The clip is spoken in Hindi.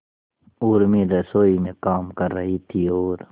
उर्मी रसोई में काम कर रही थी और